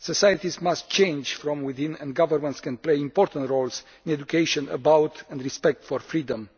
Societies must change from within, and governments can play important roles in education about and respect for freedom.